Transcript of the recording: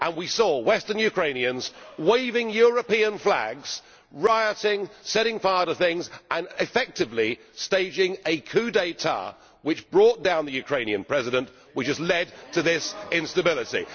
We saw Western Ukrainians waving European flags, rioting, setting fire to things and effectively staging a coup d'état which brought down the Ukrainian President, leading to this instability.